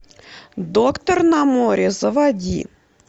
доктор на море заводи